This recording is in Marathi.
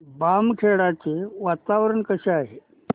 बामखेडा चे वातावरण कसे आहे